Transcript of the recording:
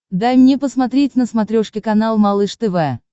дай мне посмотреть на смотрешке канал малыш тв